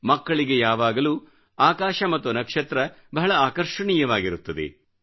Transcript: ಮಕ್ಕಳಿಗೆ ಯಾವಾಗಲೂ ಆಕಾಶ ಮತ್ತು ನಕ್ಷತ್ರ ಬಹಳ ಆಕರ್ಷಣೀಯವಾಗಿರುತ್ತದೆ